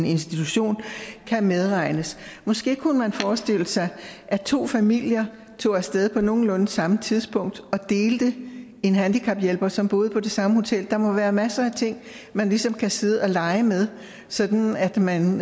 institution kan medregnes måske kunne man forestille sig at to familier tog af sted på nogenlunde samme tidspunkt og delte en handicaphjælper som boede på det samme hotel der må være masser af ting man ligesom kan sidde og lege med sådan at man